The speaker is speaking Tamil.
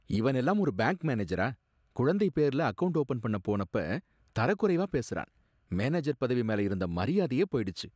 இவன் எல்லாம் ஒரு பேங்க் மேனேஜரா! குழந்தை பேர்ல அக்கவுண்ட் ஓபன் பண்ணபோனப்ப தரக் குறைவா பேசுறான். மேனேஜர் பதவி மேல இருந்த மரியாதையே போயிடுச்சு.